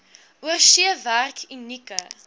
oorsee werk unieke